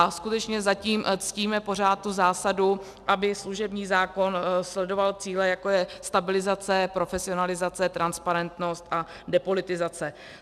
A skutečně zatím ctíme pořád tu zásadu, aby služební zákon sledoval cíle, jako je stabilizace, profesionalizace, transparentnost a depolitizace.